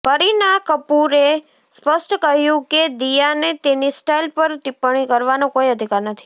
કરીના કપૂરે સ્પષ્ટ કહ્યું હતું કે દિયાને તેની સ્ટાઈલ પર ટિપ્પણી કરવાનો કોઈ અધિકાર નથી